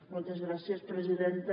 moltes gràcies presidenta